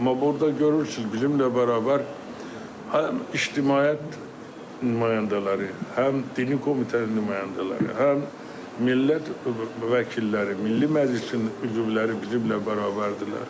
Amma burda görürsüz, bizimnən bərabər həm ictimaiyyət nümayəndələri, həm dini komitənin nümayəndələri, həm millət vəkilləri, Milli Məclisin üzvləri bizimnən bərabərdirlər.